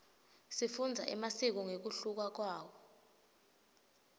sifundza emasiko ngekuhluka kwawo